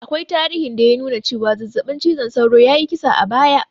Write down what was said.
Akwai tarihin da ya nuna cewa zazzaɓin cizon sauro ya yi kisa a baya